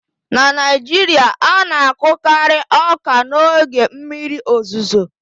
na Naijiria, a na-akọkari ọka n'oge mmiri ozuzo